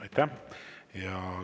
Aitäh!